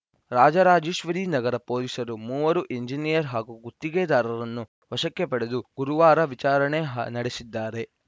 ರಾಜರಾಜೇಶ್ವರಿ ನಗರ ಪೊಲೀಸರು ಮೂವರು ಎಂಜಿನಿಯರ್‌ ಹಾಗೂ ಗುತ್ತಿಗೆದಾರನನ್ನು ವಶಕ್ಕೆ ಪಡೆದು ಗುರುವಾರ ವಿಚಾರಣೆ ನಡೆಸಿದ್ದಾರೆ